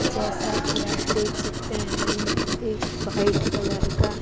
जैसा कि आप देख सकते हैं एक व्हाइट कलर का--